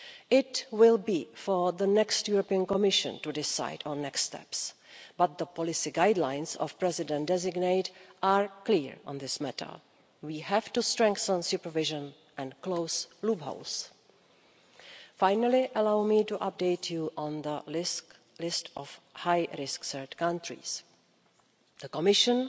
It will be for the next Commission to decide on the next steps, but the policy guidelines of the President designate are clear on this matter. We have to strengthen supervision and close loopholes. Finally, allow me to update you on the list of high risk third countries. The Commission